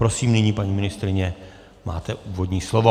Prosím, nyní, paní ministryně, máte úvodní slovo.